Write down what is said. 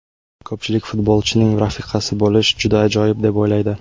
Ko‘pchilik futbolchining rafiqasi bo‘lish juda ajoyib deb o‘ylaydi.